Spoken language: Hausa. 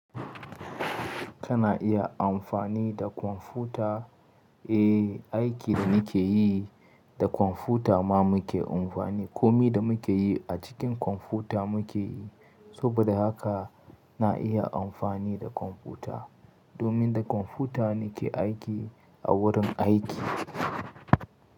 Kana iya amfani da kwamfuta? Eh, aikin da nike yi da kwamfuta ma muke amfani. Komi da muke yi a cikin kwamfuta muke yi. Saboda haka na iya amfani da kwamfuta domin da kwamfuta nike aiki a wurin aiki.